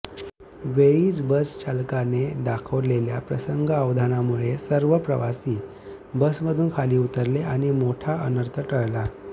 वेळीच बस चालकाने दाखवलेल्या प्रसंगावधानामुळे सर्व प्रवासी बसमधून खाली उतरले आणि मोठा अनर्थ टळला